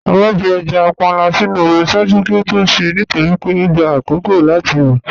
À máà fí èjá pànla sínu omi ṣáàjú kí ó tó ṣè nítorí pé ọ gbà àkókó láti rọ